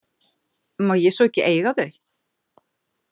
Má ég svo ekki eiga þau?